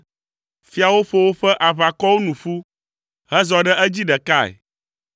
Fiawo ƒo woƒe aʋakɔwo nu ƒu, hezɔ ɖe edzi ɖekae,